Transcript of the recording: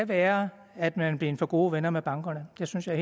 være at man er blevet for gode venner med bankerne det synes jeg